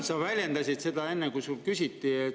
Sa väljendasid seda enne, kui sinult küsiti.